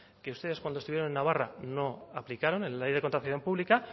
que ustedes cuando estuvieron en navarra no aplicaron en la ley de contratación pública